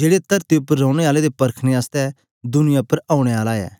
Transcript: जेड़े तरती उपर रैने आलें दे परखने आसतै दुनियां उपर औने आला ऐ